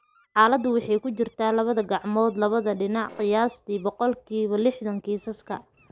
Xaaladdu waxay ku jirtaa labada gacmood (labada dhinac) qiyaastii boqolkibaa lixdan kiisaska.